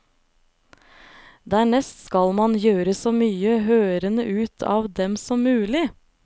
Dernest skal man gjøre så mye hørende ut av dem som mulig.